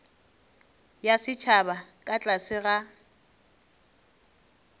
ya setšhaba ka tlase ga